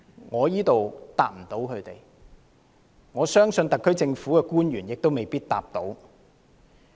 我無法回答，相信特區政府的官員亦未必可以作答。